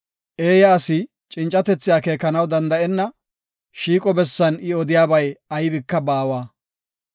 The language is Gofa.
Eeya asi cincatethi akeekanaw danda7enna; shiiqo bessan I odiyabay aybika baawa.